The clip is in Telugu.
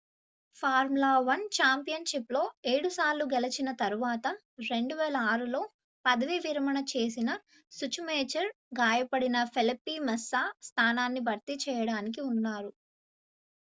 formula 1 ఛాంపియన్షిప్లో 7 సార్లు గెలిచిన తర్వాత 2006లో పదవి విరమణ చేసిన schumacher గాయపడిన felipe massa స్థానాన్ని భర్తీ చేయడానికి ఉన్నారు